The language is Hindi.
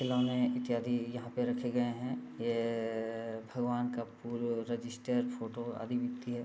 खिलौने इत्यादि यहाँ पे रखे गए हैं। ये अअअ भगवान का फूल रजिस्टर फोटो आदि बिकती है।